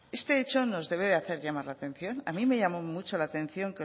este hecho nos debe hacer llamar la atención a mí me llamó mucho la atención